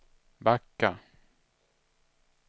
backa